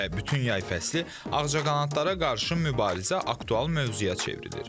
Və bütün yay fəslini ağcaqanadlara qarşı mübarizə aktual mövzuya çevrilir.